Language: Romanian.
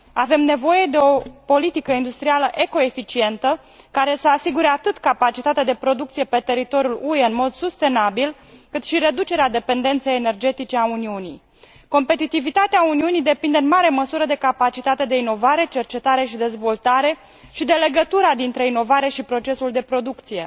Avem nevoie de o politică industrială eco eficientă, care să asigure atât capacitatea de producție pe teritoriul UE în mod sustenabil, cât și reducerea dependenței energetice a Uniunii. Competitivitatea Uniunii depinde, în mare măsură, de capacitatea de inovare, cercetare și dezvoltare și de legătura dintre inovare și procesul de producție.